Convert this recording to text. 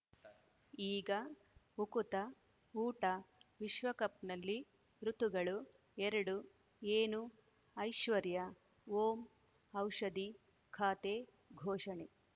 ಈಗ ಉಕುತ ಊಟ ವಿಶ್ವಕಪ್‌ನಲ್ಲಿ ಋತುಗಳು ಎರಡು ಏನು ಐಶ್ವರ್ಯಾ ಓಂ ಔಷಧಿ ಖಾತೆ ಘೋಷಣೆ